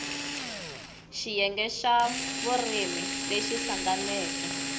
xiyenge xa vurimi lexi hlanganeke